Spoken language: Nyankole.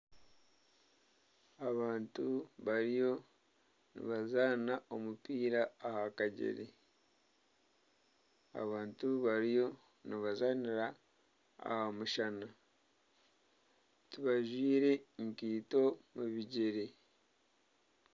Abantu bariyo nibazaana omupiira aha kagyere, abantu bariyo nibazaanira aha mushana, tibajwire nkaito omu bigyere